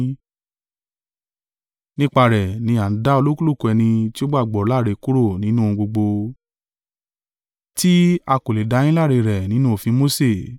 Nípa rẹ̀ ni a ń dá olúkúlùkù ẹni tí ó gbàgbọ́ láre kúrò nínú ohun gbogbo, tí a kò lè dá yín láre rẹ̀ nínú òfin Mose.